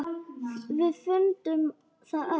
Við fundum það öll.